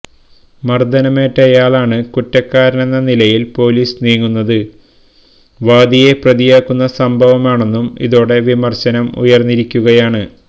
മർദ്ദനമേറ്റയാളാണ് കുറ്റക്കാരനെന്ന നിലയിൽ പൊലീസ് നീങ്ങുന്നത് വാദിയെ പ്രതിയാക്കുന്ന സംഭവമാണെന്നും ഇതോടെ വിമർശനം ഉയർന്നിരിക്കുകയാണ്